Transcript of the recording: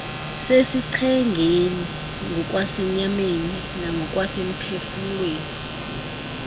sesichengeni ngokwasenyameni nangokwasemphefumlweni